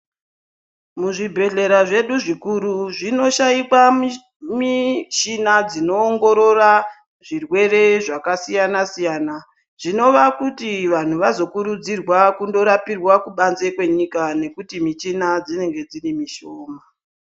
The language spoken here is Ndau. Muzvibhedhlera zvedu zvikuru zvinoshaikwa mishina dzinoongorora zvirwere zvakasiyana siyana zvinova kuti vanhu vazokurudzirwa kundorapirwa kubanze kwenyika nekuti michina dzinenge dzirimushoma.